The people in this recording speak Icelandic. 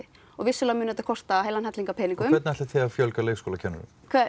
vissulega mun þetta kosta heilan helling af peningum hvernig ætlið þið að fjölga leikskólakennurum